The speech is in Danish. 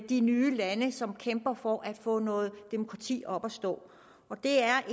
de nye lande som kæmper for at få noget demokrati op at stå det er